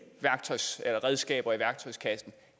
redskaber i værktøjskassen